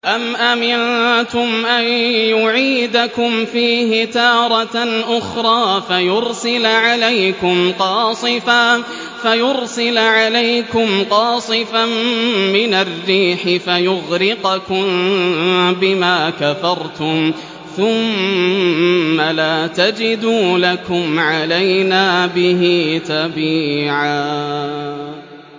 أَمْ أَمِنتُمْ أَن يُعِيدَكُمْ فِيهِ تَارَةً أُخْرَىٰ فَيُرْسِلَ عَلَيْكُمْ قَاصِفًا مِّنَ الرِّيحِ فَيُغْرِقَكُم بِمَا كَفَرْتُمْ ۙ ثُمَّ لَا تَجِدُوا لَكُمْ عَلَيْنَا بِهِ تَبِيعًا